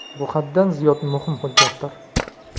Bu haddan ziyod muhim hujjatdir.